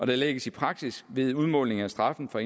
lægges i praksis ved udmåling af straffen for